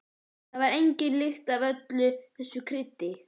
Það var engin lykt af öllu þessu kryddi.